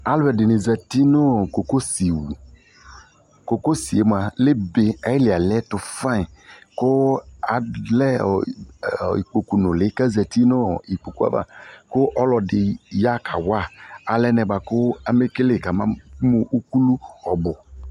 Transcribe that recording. Alɔde ne zati no kokosi wu Kokosie moa lɛbe ayili aliɛto fayin ko alɛ ɔ, i, ikpoku nule kazati no ikpoku ava ko ɔlɔde ya kawa alɛ bɔajo amekele ka ma mu ukulu ɔbu